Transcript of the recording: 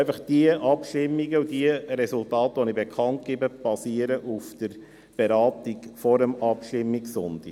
Einfach: Die Abstimmungen und Resultate, die ich bekannt gebe, basieren auf der Beratung vor dem Abstimmungssonntag.